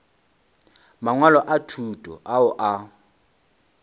mangwalo a thuto ao a